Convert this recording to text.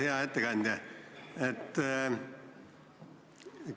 Hea ettekandja!